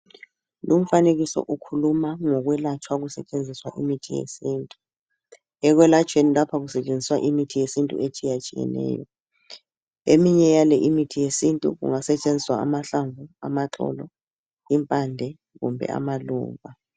Lumfanekiso ukhuluma ngokwelatshwa kusetshenziswa imithi yesintu. Ekwelatshweni lapha kusetshenziswa imithi yesintu etshiyatshiyeneyo. Eminye yale imithi yesintu kungasetshenziswa amahlamvu, amaxolo, impande kumbe amaluba.